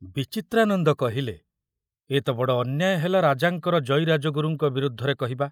ବିଚିତ୍ରାନନ୍ଦ କହିଲେ, ଏ ତ ବଡ଼ ଅନ୍ୟାୟ ହେଲା ରାଜାଙ୍କର ଜୟୀ ରାଜଗୁରୁଙ୍କ ବିରୁଦ୍ଧରେ କହିବା।